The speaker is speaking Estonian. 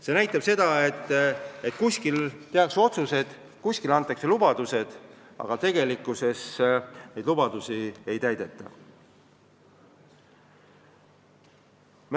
See näitab seda, et kuskil tehakse otsused, kuskil antakse lubadused, aga tegelikkuses neid lubadusi ei täideta.